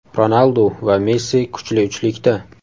Ronaldu va Messi kuchli uchlikda.